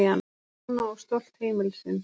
Stjána og stolt heimilisins.